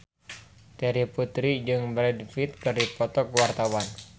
Terry Putri jeung Brad Pitt keur dipoto ku wartawan